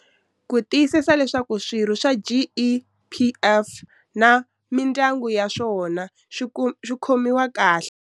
Ku tiyisisa leswaku swirho swa GEPF na mindyangu ya swona swi khomiwa kahle.